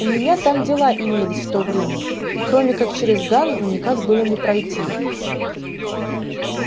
у меня там дела имелись в то время и кроме как через ганзу никак было не пройти